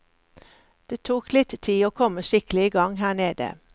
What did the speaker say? Det tok litt tid å komme skikkelig i gang her nede.